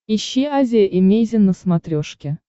ищи азия эмейзин на смотрешке